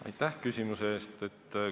Aitäh küsimuse eest!